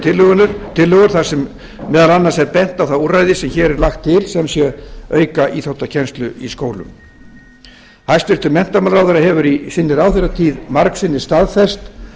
og tillögur þar sem meðal annars er bent á það úrræði sem hér er lagt til sem sé að auka íþróttakennslu í skólum hæstvirtur menntamálaráðherra hefur í sinni ráðherratíð margsinnis staðfest